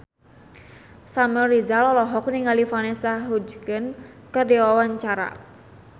Samuel Rizal olohok ningali Vanessa Hudgens keur diwawancara